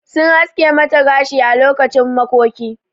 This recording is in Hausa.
Sun haske mata gashi ã lokacin makoki.